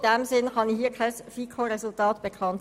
Daher kann ich Ihnen hier kein Ergebnis mitteilen.